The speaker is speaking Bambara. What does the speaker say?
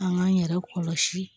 An k'an yɛrɛ kɔlɔsi